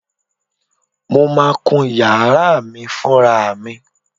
Mo máa kún yàrá mi fúnra mi.